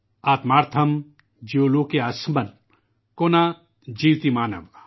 آتمن تھرم جیوالوکاسمن، کو نہ جیوتی مانواہ |